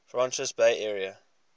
francisco bay area